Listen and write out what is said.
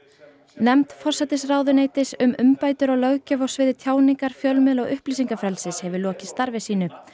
nefnd forsætisráðuneytisins um umbætur á löggjöf á sviði tjáningar fjölmiðla og upplýsingafrelsis hefur lokið starfi sínu